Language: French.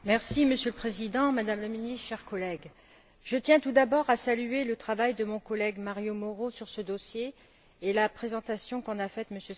Monsieur le Président, Madame la Ministre, chers collègues, je tiens tout d'abord à saluer le travail de mon collègue Mario Mauro sur ce dossier et la présentation qu'en a faite M.